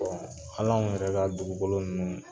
Hali anw yɛrɛ ka dugukolo ninnu